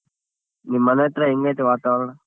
ನಿಮ್ಮ್ ಮನೆ ಅತ್ರ ಹೆಂಗ್ ಐತೆ ವಾತಾವರಣ?